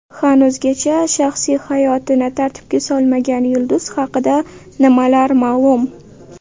Hanuzgacha shaxsiy hayotini tartibga solmagan yulduz haqida nimalar ma’lum?